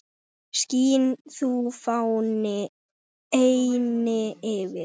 Skín þú, fáni, eynni yfir